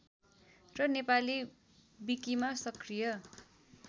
र नेपाली विकिमा सक्रिय